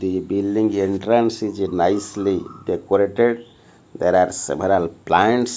the building entrance is nicely decorated there are several plants.